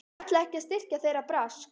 Hún ætlaði ekki að styrkja þeirra brask!